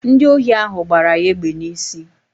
Ndi ohi ahụ gbara ya egbe n'isi